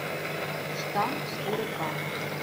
штамп четыре ка